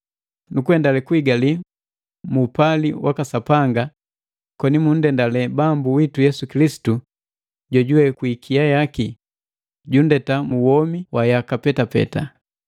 nu kuendale kuigali mu upali waka Sapanga, koni munndendale Bambu witu Yesu Kilisitu jojuwe, kwi ikia yaki, junndeta mu womi wa yaka petapeta.